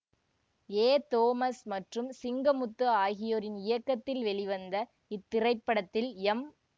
ஏ Thomas மற்றும் சிங்கமுத்து ஆகியோரின் இயக்கத்தில் வெளிவந்த இத்திரைப்படத்தில் எம்